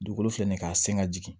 Dugukolo filɛ nin ye k'a sen ka jigin